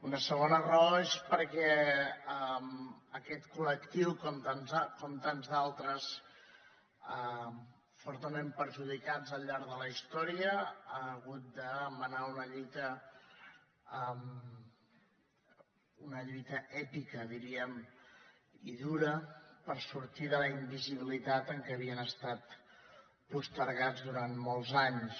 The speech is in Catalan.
una segona raó és perquè aquest col·lectiu com tants d’altres fortament perjudicats al llarg de la història ha hagut de menar una lluita èpica diríem i dura per sortir de la invisibilitat en què havien estat postergats durant molts anys